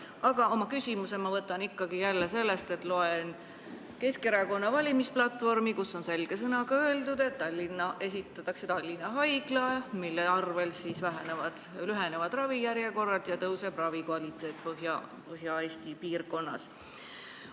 Aga minu küsimus on ajendatud sellest, et ma loen Keskerakonna valimisplatvormi, kus on selge sõnaga öeldud, et ehitatakse Tallinna Haigla, mille tulemusel lühenevad ravijärjekorrad ja tõuseb ravi kvaliteet Põhja-Eesti piirkonnas.